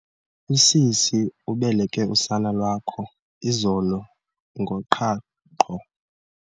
Usisi ubeleke usana lwakho izolo ngoqhaqho.